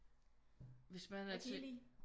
Hvis man er til